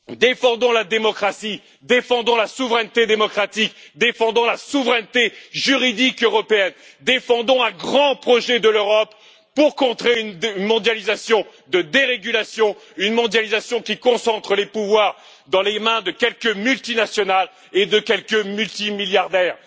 Défendons la démocratie, défendons la souveraineté démocratique, défendons la souveraineté juridique européenne, défendons un grand projet de l'Europe pour contrer une mondialisation de dérégulation, une mondialisation qui concentre les pouvoirs dans les mains de quelques multinationales et de quelques multimilliardaires.